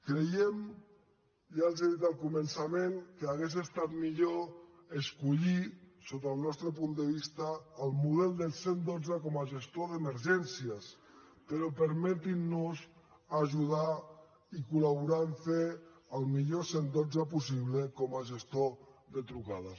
creiem ja els ho he dit al començament que hauria estat millor escollir sota el nostre punt de vista el model del cent i dotze com a gestor d’emergències però permetin nos ajudar i col·laborar a fer el millor cent i dotze possible com a gestor de trucades